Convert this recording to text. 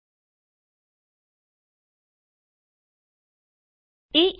ਆਪਣੇ ਪ੍ਰੋਗਰਾਮ ਤੇ ਵਾਪਸ ਆਉ